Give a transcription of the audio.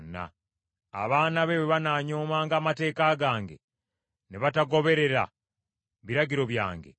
Abaana be bwe banaanyoomanga amateeka gange, ne batagoberera biragiro byange;